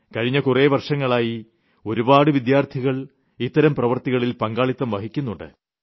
കഴിഞ്ഞ കുറേ വർഷങ്ങളായി ഒരുപാട് വിദ്യാർത്ഥികൾ ഇത്തരം പ്രവൃത്തികളിൽ പങ്കാളിത്തം വഹിക്കുന്നുണ്ട്